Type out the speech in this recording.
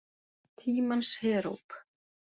Tímans heróp.